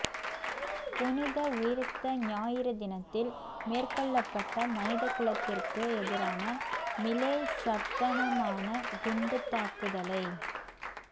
புனித உயிர்த்த ஞாயிறு தினத்தில் மேற்கொள்ளபட்ட மனித குலத்திற்க்கு எதிரான மிலேச்சத்தனமான குண்டுத்தாக்குதலை